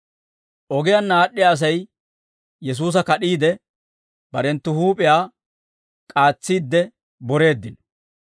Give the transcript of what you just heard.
Ogiyaanna aad'd'iyaa Asay Yesuusa kad'iide, barenttu huup'iyaa k'aatsiidde boreeddino.